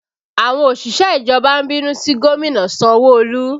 Àwọn òṣìṣẹ́ ìjọba ń bínú sí gómìnà Sanwo Olu